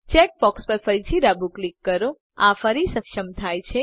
check box પર ફરીથી ડાબું ક્લિક કરો આ ફરી સક્ષમ થાય છે